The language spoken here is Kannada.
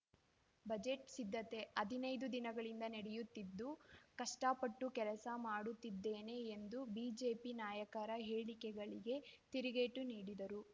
ಬಜೆಟ್‌ ಸಿದ್ಧತೆ ಹದಿನೈದು ದಿನಗಳಿಂದ ನಡೆಯುತ್ತಿದ್ದು ಕಷ್ಟಪಟ್ಟು ಕೆಲಸ ಮಾಡುತ್ತಿದ್ದೇನೆ ಎಂದು ಬಿಜೆಪಿ ನಾಯಕರ ಹೇಳಿಕೆಗಳಿಗೆ ತಿರುಗೇಟು ನೀಡಿದರು